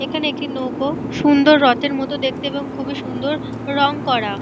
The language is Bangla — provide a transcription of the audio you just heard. এখানে একটি নৌকো। সুন্দর রথের মতো দেখতে এবং খুবই সুন্দর রং করা।